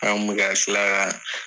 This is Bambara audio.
An kun bɛ ka